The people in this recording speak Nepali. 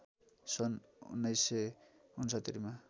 सन् १९६९ मा